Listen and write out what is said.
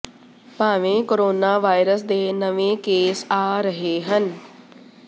ਭਾਵੇਂ corona virus ਦੇ ਨਵੇਂ ਕੇਸ ਆ ਰਹੇ ਹਨ